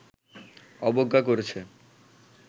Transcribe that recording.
অবজ্ঞা করেছে